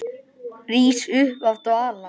Rís upp af dvala.